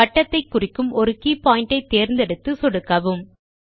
வட்டத்தை குறிக்கும் ஒரு கே பாயிண்ட் ஐ தேர்ந்தெடுத்து சொடுக்கவும்